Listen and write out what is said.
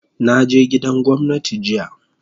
Na je gidan gwamnati jiya